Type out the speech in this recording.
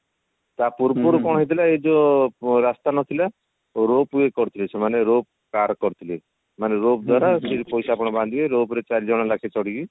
ତା ପୂର୍ବରୁ କଣ ହେଇଥିଲା ଏ ଯୋଉ ରାସ୍ତା ନଥିଲା rope way କରିଥିଲେ ସେମାନେ rope car କରିଥିଲେ ମାନେ rope ଦ୍ଵାରା ଶେଠୀ ପଇସା ଆପଣ ବାନ୍ଧିବେ rope ରେ ଚାରି ଜଣ ଲେଖା ଚଢିକି